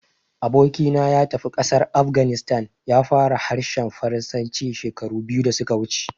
Aboki na ya tafi ƙasar Afghanistan, ya fara harshen Faransanci shekaru biyu da su ka wuce